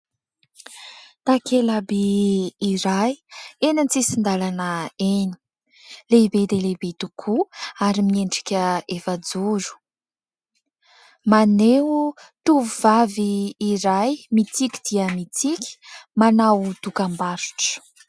Takela-by iray eny an-tsisin-dalana eny. Lehibe dia lehibe tokoa ary miendrika efajoro. Maneho tovovavy iray mitsiky dia mitsiky manao dokam-barotra.